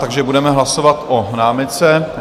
Takže budeme hlasovat o námitce.